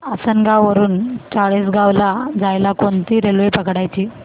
आसनगाव वरून चाळीसगाव ला जायला कोणती रेल्वे पकडायची